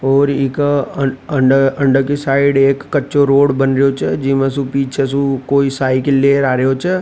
और इक अंदर की साइड एक कच्चा रोड बन रहा छ जिमा कोई बच्चा साइकिल लेर आरो छ।